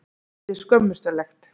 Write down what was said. Þetta er skömmustulegt.